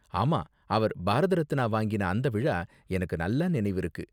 ஆமா, அவர் பாரத் ரத்னா வாங்கின அந்த விழா எனக்கு நல்லா நினைவிருக்கு.